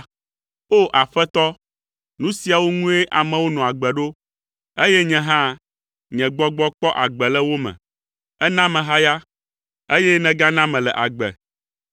O! Aƒetɔ, nu siawo ŋue amewo nɔa agbe ɖo, eye nye hã nye gbɔgbɔ kpɔ agbe le wo me. Èna mehaya, eye nègana mele agbe.